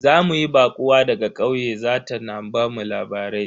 Za mu yi baƙuwa daga ƙauye za ta na bamu labarai.